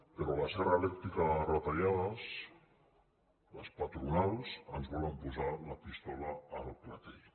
però la serra elèctrica de les retallades les patronals ens volen posar la pistola al clatell